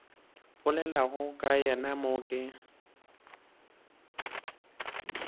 bolelago ka yena mo ke